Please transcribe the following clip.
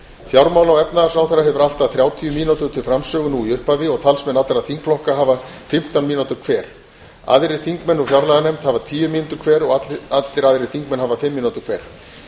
fjármála og efnahagsráðherra hefur allt að þrjátíu mínútur til framsögu nú í upphafi og talsmenn allra þingflokka hafa fimmtán mínútur hver aðrir þingmenn úr fjárlaganefnd hafa tíu mínútur hver og allir aðrir þingmenn hafa fimm mínútur hver